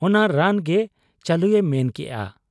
ᱚᱱᱟ ᱨᱟᱱᱜᱮ ᱪᱟᱹᱞᱩᱭᱮ ᱢᱮᱱ ᱠᱮᱜ ᱟ ᱾